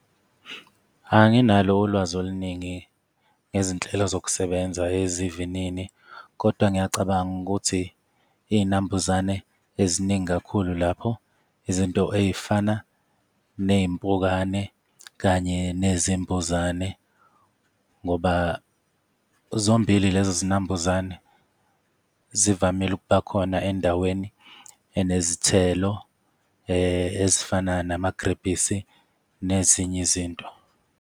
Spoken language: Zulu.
Anginalo ulwazi oluningi ngezinhlelo zokusebenza ezivinini, kodwa ngiyacabanga ukuthi iy'nambuzane eziningi kakhulu lapho izinto ey'fana ney'mpukane kanye nezinambuzane, ngoba zombili lezi zinambuzane zivamile ukubakhona endaweni enezinezithelo ezifana namagilebhisi nezinye izinto.